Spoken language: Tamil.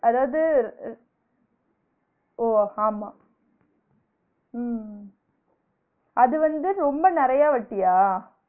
அதாவது ஓ ஆமா உம் அது வந்து ரொம்ப நிரயா வட்டியா?